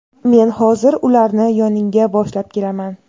Men hozir, ularni yoningga boshlab kelaman.